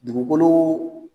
Dugukolo